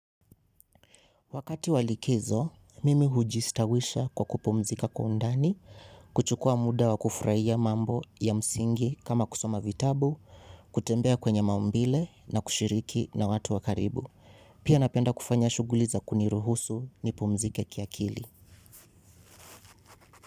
Wakati wa likizo, mimi hujistawisha kwa kupumzika kwa undani, kuchukua muda wa kufurahia mambo ya msingi kama kusoma vitabu, kutembea kwenye maumbile na kushiriki na watu wa karibu. Pia napenda kufanya shughuli za kuniruhusu nipumzike kiakili.